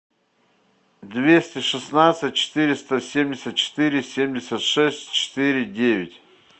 двести шестнадцать четыреста семьдесят четыре семьдесят шесть четыре девять